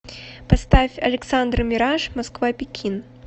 поставь александр мираж москва пекин